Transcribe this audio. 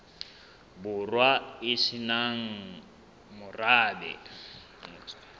borwa e se nang morabe